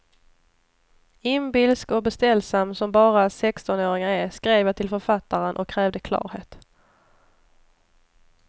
Inbilsk och beställsam som bara sextonåringar är, skrev jag till författaren och krävde klarhet.